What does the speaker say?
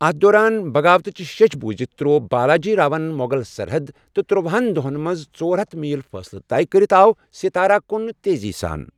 اَتھ دوران، بغاوتچہِ شیٚچھ بوٗزِتھ تروو بالاجی راون مۄغل سرحد، تہٕ ترٛوہَن دۄہن منٛز ژور ہتھ میل فٲصلہٕ طے کٔرِتھ آو ستارہ کُن تیزی سان۔